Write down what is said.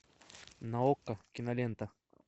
на окко кинолента